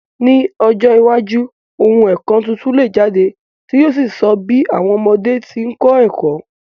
Ni ọjọ́ iwájú, oun èkó tuntun le jáde, ti yio so bi àwom ọmọdé ti n kó ẹ̀kó